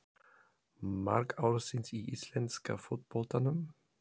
Mark ársins í íslenska fótboltanum?